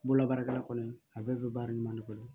Bolola baarakɛla kɔni a bɛɛ bɛ baara ɲuman de kɔnɔ